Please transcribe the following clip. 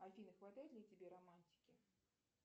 афина хватает ли тебе романтики